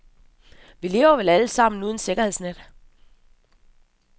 Vi lever vel alle sammen uden sikkerhedsnet.